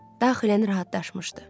Daxilən rahatlaşmışdı.